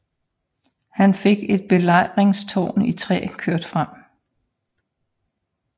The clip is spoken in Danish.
Han fik et belejringstårn i træ kørt frem